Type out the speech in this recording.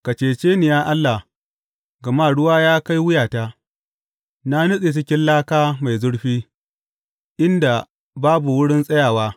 Ka cece ni, ya Allah, gama ruwa ya kai wuyata Na nutse cikin laka mai zurfi, inda babu wurin tsayawa.